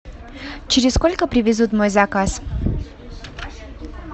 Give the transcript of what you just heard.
через сколько привезут мой заказ